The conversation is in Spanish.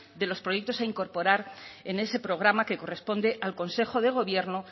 de los proyectos a incorporar en ese programa que corresponde al consejo de gobierno